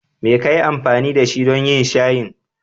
Me ka yi amfani da shi don yin shayin?